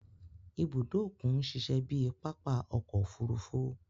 Ìbùdó okùn n ṣiṣẹ bíi papa ọkọ ofurufu